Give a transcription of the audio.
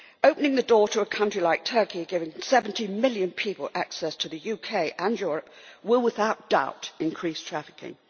Opening the door to a country like Turkey, giving 70 million people access to the UK and Europe, will without doubt increase trafficking.